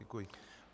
Děkuji.